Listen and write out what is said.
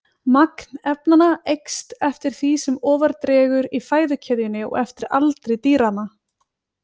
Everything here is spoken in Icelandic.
Magn efnanna eykst eftir því sem ofar dregur í fæðukeðjunni og eftir aldri dýranna.